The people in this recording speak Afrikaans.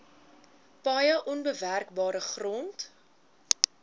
paaie onbewerkbare grond